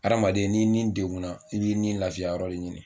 Hadamaden n'i ni deguna i b'i ni lafiya yɔrɔ de ɲini.